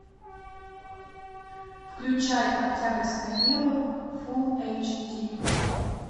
включай октябрьское небо фулл эйч ди